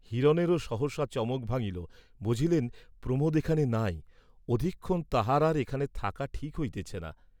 হিরণেরও সহসা চমক ভাঙ্গিল, বুঝিলেন, প্রমোদ এখানে নাই, অধিক ক্ষণ তাঁহার আর এখানে থাকা ঠিক হইতেছে না।